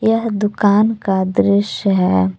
यह दुकान का दृश्य है।